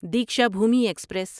Deekshabhoomi express